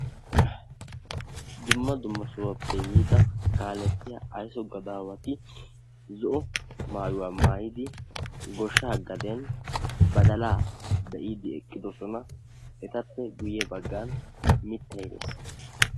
dumma dumma sohuwappe yiida kaaletiyaa aysso gadawati zo''o maayuwa maayidi goshsha gaden badalaaa be'idi eqqidoosona. etappe guyye baggan mittay dees.